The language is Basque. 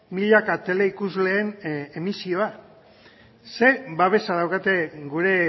milaka teleikusleen emisioa ze babesa daukate gure